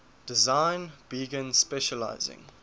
design began specializing